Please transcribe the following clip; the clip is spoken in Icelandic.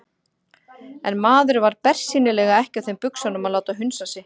En maðurinn var bersýnilega ekki á þeim buxunum að láta hunsa sig.